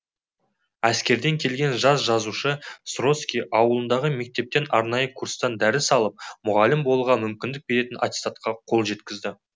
әскерден келген жас жазушы сроски ауылындағы мектептен арнайы курстан дәріс алып мұғалім болуға мүмкіндік беретін атестатқа қол жеткізеді